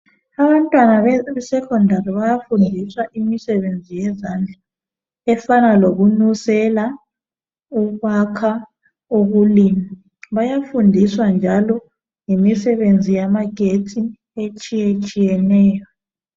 Abantwana be secondary bayafundiswa imisebenzi yezandla efana lokunusela ukwakha ukulima bayafundiswa njalo ngemisebenzi yamagetsi etshiye tshiyeneyo.